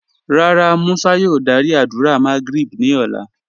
Rárá, Musa yòò dàrí àdúrà Magrib ni ọ̀lá